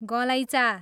गलैँचा